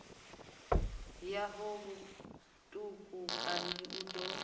ya ho vhutukani u ḓo